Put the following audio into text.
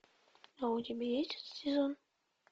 а у тебя есть этот сезон